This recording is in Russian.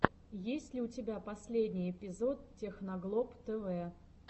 есть ли у тебя последний эпизод техноглоб тэвэ